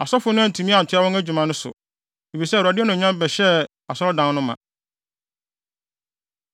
Asɔfo no antumi antoa wɔn adwuma no so, efisɛ Awurade anuonyam bɛhyɛɛ Onyankopɔn Asɔredan no ma.